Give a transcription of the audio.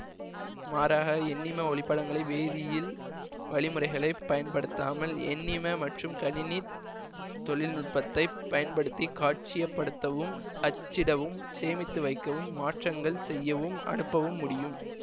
மாறாக எண்ணிம ஒளிப்படங்களை வேதியியல் வழிமுறைகளை பயன்படுத்தாமல் எண்ணிம மற்றும் கணினித் தொழில் நுட்பத்தை பயன்படுத்தி காட்சியப்படுத்தவும் அச்சிடவும் சேமித்து வைக்கவும் மாற்றங்கள் செய்யவும் அனுப்பவும் முடியும்